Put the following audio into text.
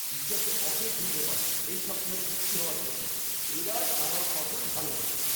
ঈশ্বরকে অশেষ ধন্যবাদ এই সপ্তাহে বৃষ্টি হওয়ার জন্য। এবার আমার ফসল ভালো হবে।